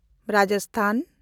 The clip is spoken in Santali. ᱨᱟᱡᱟᱥᱛᱷᱟᱱ